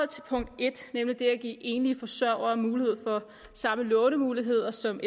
til punkt en nemlig det at give enlige forsørgere mulighed for samme lånemuligheder som